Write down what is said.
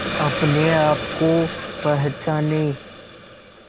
अपने आप को पहचाने